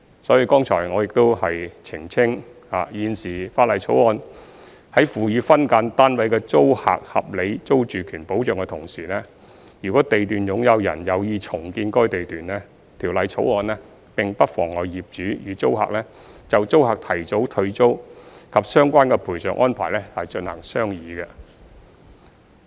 所以剛才我亦澄清，現時《條例草案》在賦予分間單位的租客合理租住權保障的同時，如地段擁有人有意重建該地段，《條例草案》並不妨礙業主與租客就租客提早退租及相關的賠償安排進行商議。